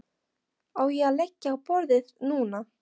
Á ég að leggja á borðið núna?